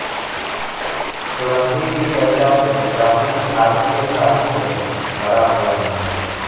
सुगंधि की चर्चा से प्राचीन भारतीय साहित्य भरा हुआ है